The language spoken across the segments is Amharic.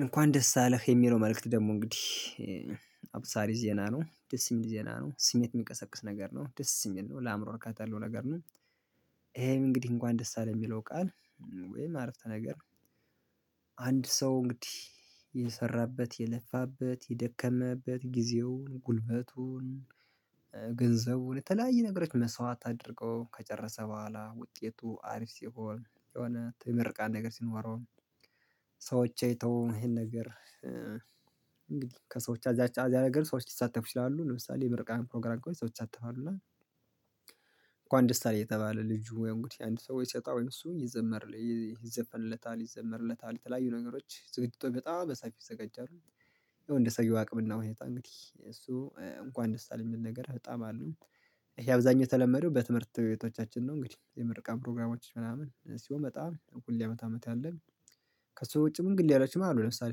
እንኳን ደስ አለህ የሚለው መልእክት ደግሞ እንግዲህ አብሳሪ ዜና ነው ደስ የሚል ዜና ነው ስሜት የሚቀሰቅስ ነገር ነው ደስ የሚል ነው ለአእምሮ እርካታ ያለው ነገር ነው። ይሄም እንግዲህ እንኳን ደስ አለህ የሚለው ቃል ወይም አረፍተ ነገር። አንድ ሰው እንግዲህ የሰራበት የለፋበት የደከመበት ጊዜውን ጉልበቱን ገንዘቡን የተለያየ ነገሮች መስዋዕት አድርጎ ከጨረሰ በኋላ ውጤቱ አሪፍ ሲሆን የሆነ ምርቃት ነገር ሲኖረው። ሰዎች አይተው ይሄን ነገር። እንግዲህ ከሰዎች አዛ አዛ ነገር ሰዎች ሊሳተፍ ይችላሉ ለምሳሌ የምርቃን ፕሮግራም ላይ ሰዎች ይሳተፋሉ እና። እንኳን ደስ አለህ እየተባለ ልጁ ያው እንግዲህ አንድ ሰው ወይ ሲወጣ ወይም እሱ ይዘመር ይዘፈንለታል ይዘመርለታል የተለያዩ ነገሮች ዝግጅቶች በጣም በሰፊ ይዘጋጃሉ። ያው እንደ ሰውዬው አቅምና ሁኔታ እንግዲህ እሱ እንኳን ደስ አለህ የሚል ነገር በጣም አሉ። ይሄ አብዛኛው የተለመደው በትምህርት ቤቶቻችን ነው እንግዲህ የምርቃት ፕሮግራሞች ምናምን ሲሆን በጣም ሁሌ አመት አመት ያለን። ከእሱ ውጪ መንገድ እያላችሁ ማለት ነው ለምሳሌ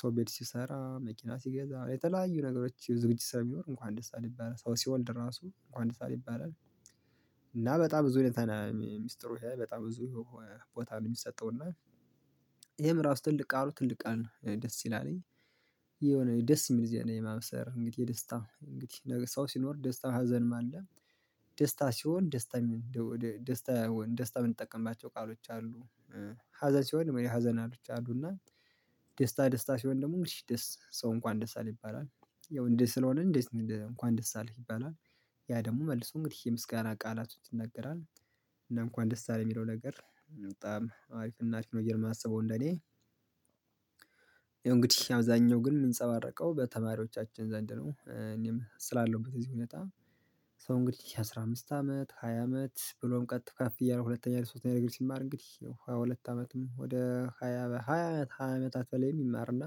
ሰው ቤት ሲሰራ መኪና ሲገዛ የተለያዩ ነገሮች ዝግጅት ስራ ቢኖር እንኳን ደስ ይባላል ሰው ሲወልድ ራሱ እንኳን ደስ አለህ ይባላል። እና በጣም ብዙ ሁኔታ ሚስጥሩ በጣም ብዙ ቦታ ነው የሚሰጠው እና ይሄም ራሱ ትልቅ ቃሉ ትልቅ ቃል ደስ ይላልኝ። የሆነ ደስ የሚል ዜና የማብሰር እንግዲህ የደስታ እንግዲህ ነገ ሰው ሲኖር ደስታ ሀዘንም አለ። ደስታ ሲሆን ደስታ ደስታ ደስታ የምንጠቀማቸው ቃሎች አሉ። ሀዘን ሲሆን የመኔ ሀዘናቶች አሉና ደስታ ደስታ ሲሆን ደግሞ ደስ ሰው እንኳን ደስ አለህ ይባላል። ያው እንዲ ስለሆነ እንዴት እንኳን ደስ አለህ ይባላል። ያ ደግሞ መልሶ እንግዲህ የምስጋና ቃላቶች ይናገራል። እንኳን ደስ አለ የሚለው ነገር በጣም አሪፍ እና አሪፍ ነው ብዬ የማስበው እንደኔ። ይሄው እንግዲህ አብዛኛው ግን የምንፀባረቀው በተማሪዎቻችን ዘንድ ነው እኔም ስላለውበት እዚህ ሁኔታ። ሰው እንግዲህ የአስራ አምስት አመት ሃያ አመት ብሎም ቀጥ ከፍ እያለ ሁለተኛ ሶስተኛ ዲግሪ ሲማር እንግዲህ ሃያ ሁለት አመትም ወደ ሃያ በሃያ ሃያ አመታት በላይ ይማርና።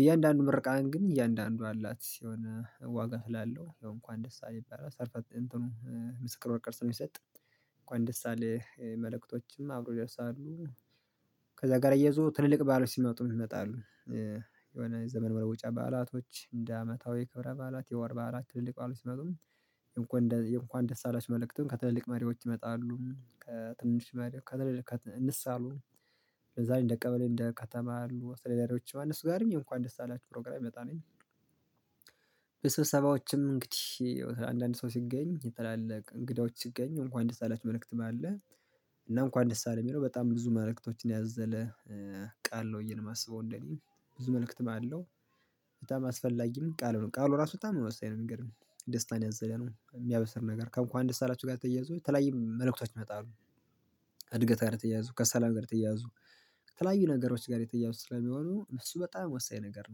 በእያንዳንዱ ምርቃን እንግዲህ እያንዳንዱ አላት የሆነ ዋጋ እላለሁ ያው እንኳን ደስ ይባላል ሰርተፍ እንትኑ ምስክር ወረቀት የሚሰጥ እንኳን ደስ አለህ መልእክቶችም አብሮ ይደርሳሉ። ከዛ ጋር እያይዞ ትልልቅ በዓሎች ሲመጡም ይመጣሉ። የሆነ የዘመን መለወጫ በዓላቶች እንደ አመታዊ ክብረ በዓላት የወር በዓላት ትልልቅ ባለስልጣኖች እንኳን የእንኳን ደስ አላችሁ መልእክቱን ከትልልቅ መሪዎች ይመጣሉ ከትንሽ መሪዎች ከትልልቅ እንሳሉ። ለዛ እንደ ቀበሌ እንደ ከተማ ያሉ አስተዳዳሪዎች እነሱ ዛሬም የእንኳን ደስ አላችሁ ፕሮግራም ይመጣሉ። በስብሰባዎችም እንግዲህ አንዳንድ ሰው ሲገኝ ታላላቅ እንግዳዎች ሲገኝ እንኳን ደስ አላችሁ መልእክት አለ። እና እንኳን ደስ አለህ የሚለው በጣም ብዙ መልእክቶችን ያዘለ። ቃል ነው ብዬ ነው ማስበው እንደኔ ብዙ መልእክትም አለው። በጣም አስፈላጊም ቃሉ ነው ቃሉ ራሱ በጣም ወሳኝ ነው የሚገርምህ ደስታን ያዘለ ነው የሚያበስር ነገር ከእንኳን ደስ አላችሁ ጋር ተያይዞ የተለያየ መልእክቶች ይመጣሉ። እድገት ጋር የተያያዙ ከሰላም ጋር የተያያዙ ከተለያዩ ነገሮች ጋር የተያያዙ ስለሚሆኑ እሱ በጣም ወሳኝ ነገር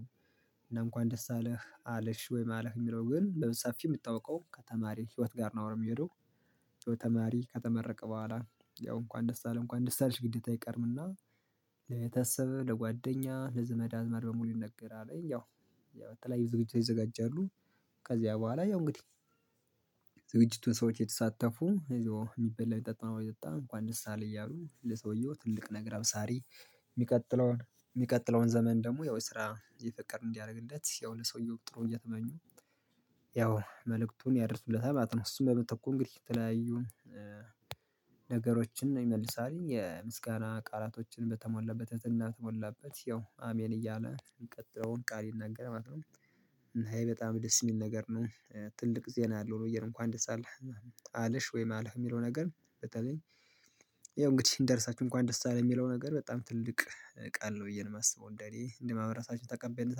ነው። እና እንኳን ደስ አለህ አለሽ ወይም አለህ የሚለው ግን በሰፊ የምታውቀው ከተማሪ ህይወት ጋር ነው የሚሄደው። ያው ተማሪ ከተመረቀ በኋላ ያው እንኳን ደስ አለ እንኳን ደስ አለሽ ግዴታ አይቀርምና። ለቤተሰብ ለጓደኛ ለዘመድ አዝማድ በሙሉ ይነገራል ያው ያው የተለያዩ ዝግጅቶች ይዘጋጃሉ። ከዚያ በኋላ ያው እንግዲህ ዝግጅቱን ሰዎች የተሳተፉ ይዞ የሚበላ የሚጠጣውን እየጠጣ እንኳን ደስ አለህ እያሉ ለሰውዬው ትልቅ ነገር አብሳሪ። የሚቀጥለውን የሚቀጥለውን ዘመን ደግሞ ያው የስራ የፍቅር እንዲያደርግለት ያው ለሰውዬው ጥሩ እየተመኙ ያው መልእክቱን ያደርሱለታል ማለት ነው። እሱን በምትኩ እንግዲህ የተለያዩ ነገሮችን ይመልሳል የምስጋና ቃላቶችን በተሞላበት ትህትና በተሞላበት ያው አሜን እያለ ቀጣዩን ቃል ይናገራል ማለት ነው። እና ይሄ በጣም ደስ የሚል ነገር ነው። ትልቅ ዜና አለው ብዬ ነው እንኳን ደስ አለህ። አለሽ ወይም አለህ የሚለው ነገር በተለይ ያው እንግዲህ ደርሳችሁ እንኳን ደስ አለ የሚለው ነገር በጣም ትልቅ ቃል ነው ብዬ ነው የማስበው እንደኔ እንደማህበረሰባችን ተቀበይነት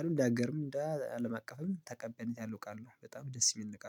አለሁ እንደ አገርም እንደአለም አቀፍም ተቀባይነት ያለው ቃል ነው በጣም ደስ የሚል ቃል ነው